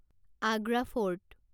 Agra fort